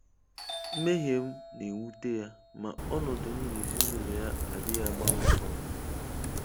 Mmehie m na-ewute ya, ma ọnọdụ m n'ezinụlọ ya adịghị agbanwe agbanwe.